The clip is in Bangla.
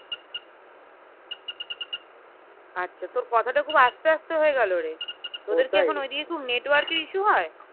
আচ্ছা তোর কথা তা খুব আস্তে আস্তে হয়েগেলো রে তোদের কি এখন ওইদিকে খুব network এর issue হয়